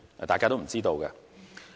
大家都不知道。